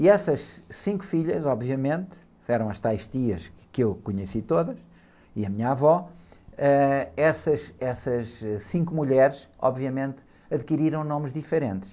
E essas cinco filhas, obviamente, eram as tais tias que eu conheci todas, e a minha avó, eh, essas, essas, ãh, cinco mulheres, obviamente, adquiriram nomes diferentes.